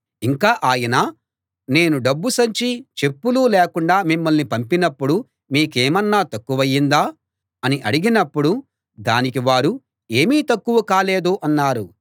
ఇంకా ఆయన నేను డబ్బు సంచీ చెప్పులూ లేకుండా మిమ్మల్ని పంపినప్పుడు మీకేమన్నా తక్కువయిందా అని అడిగాడు దానికి వారు ఏమీ తక్కువ కాలేదు అన్నారు